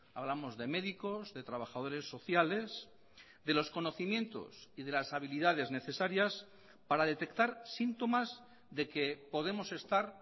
hablamos de médicos de trabajadores sociales de los conocimientos y de las habilidades necesarias para detectar síntomas de que podemos estar